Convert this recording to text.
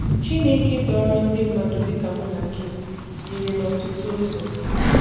Chinékē dòrò ndị mmadụ dị ka m na gị yíri n’ọ̀tụtụ ụzọ